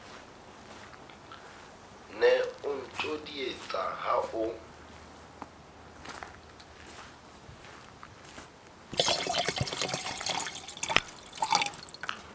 ne o ntjodietsa ha o